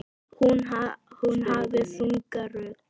Hún hafði þunga rödd.